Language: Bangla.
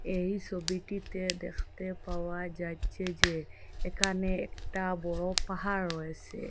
এই ছবিটিতে দেখতে পাওয়া যাচ্ছে যে এখানে একটা বড় পাহাড় রয়েছে।